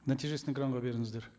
нәтижесін экранға беріңіздер